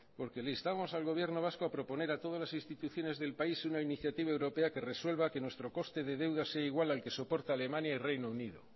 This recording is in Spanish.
porque le instamos al gobierno vasco a proponer a todas las instituciones del país una iniciativa europea que resuelva que nuestro coste de deuda sea igual al que soporta alemania y reino unido